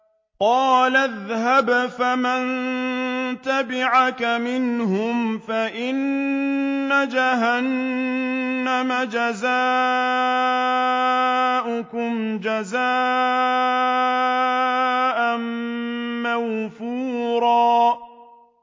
قَالَ اذْهَبْ فَمَن تَبِعَكَ مِنْهُمْ فَإِنَّ جَهَنَّمَ جَزَاؤُكُمْ جَزَاءً مَّوْفُورًا